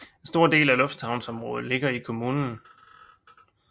En stor del af lufthavnens område ligger i kommunen